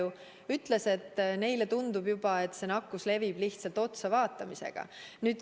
Minult testi võtnud inimene ütles mulle, et neile tundub juba, et see nakkus levib lihtsalt otsavaatamisega.